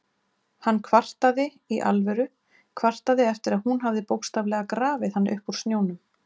Hann kvartaði- í alvöru, kvartaði eftir að hún hafði bókstaflega grafið hann upp úr snjónum!